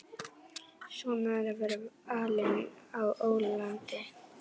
Svona er að vera alinn á ólandi.